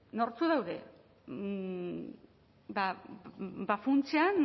nortzuk daude funtsean